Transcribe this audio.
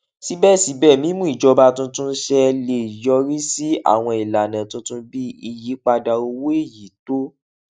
síbèsíbè mímú ìjọba tuntun ṣẹ lè yọrí sí àwọn ìlànà tuntun bí ìyípadà owó èyí tó